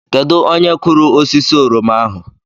Kedu onye kụrụ osisi oroma ahụ?